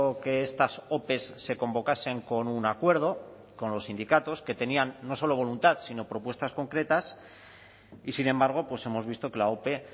que estas ope se convocasen con un acuerdo con los sindicatos que tenían no solo voluntad sino propuestas concretas y sin embargo hemos visto que la ope